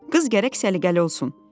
Qız gərək səliqəli olsun.